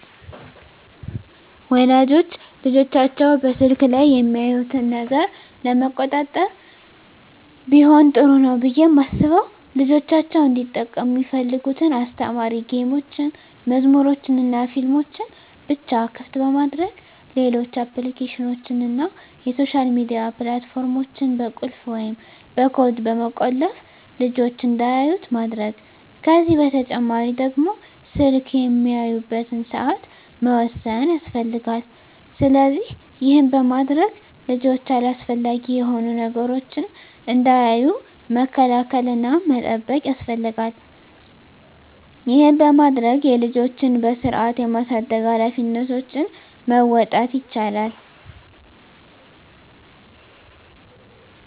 ወላጆች ልጆቻቸው በስልክ ላይ የሚያዩትን ነገር ለመቆጣጠር ቢሆን ጥሩ ነው ብየ ማስበው ልጆቻቸው እንዲጠቀሙ ሚፈልጉትን አስተማሪ ጌሞችን፣ መዝሙሮችንናፊልሞችን ብቻ ክፍት በማድረግ ሌሎች አፕሊኬሽኖችን እና የሶሻል ሚዲያ ፕላት ፎርሞችን በቁልፍ ወይም በኮድ በመቆለፍ ልጅች እንዳያዩት ማድረግ ከዚህ በተጨማሪ ደግሞ ስልክ የሚያዩበትን ሰአት መወሰን ያስፈልጋል። ስለዚህ ይህን በማድረግ ልጆች አላስፈላጊ የሆኑ ነገሮችን እንዳያዩ መከላከል እና መጠበቅ ያስፈልጋል ይህን በማድረግ የልጆችን በስርአት የማሳደግ ሀላፊነቶችን መወጣት ይቻላል።